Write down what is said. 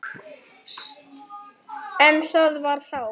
En það var þá.